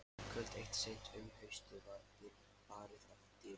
Kvöld eitt seint um haustið var barið að dyrum.